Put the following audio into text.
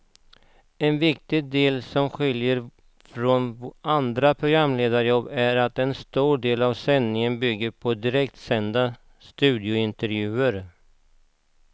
En viktig del som skiljer från andra programledarjobb är att en stor del av sändningen bygger på direktsända studiointervjuer.